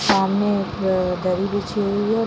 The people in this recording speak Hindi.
सामने एक दरी बिछी हुई है।